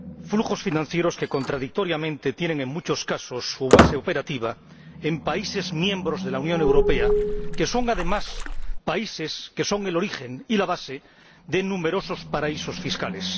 Flujos financieros que, contradictoriamente, tienen en muchos casos su base operativa en países miembros de la Unión Europea que son, además, el origen y la base de numerosos paraísos fiscales.